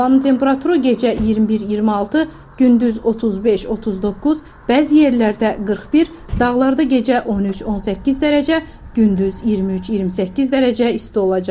Havanın temperaturu gecə 21-26, gündüz 35-39, bəzi yerlərdə 41, dağlarda gecə 13-18 dərəcə, gündüz 23-28 dərəcə isti olacaq.